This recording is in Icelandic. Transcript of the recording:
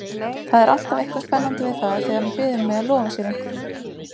Það er alltaf eitthvað spennandi við það þegar hann biður mig að lofa sér einhverju.